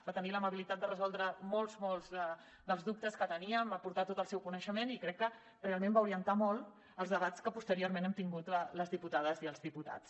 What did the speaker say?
va tenir l’amabilitat de resoldre molts dels dubtes que teníem va aportar tot el seu coneixement i crec que realment va orientar molt els debats que posteriorment hem tingut les diputades i els diputats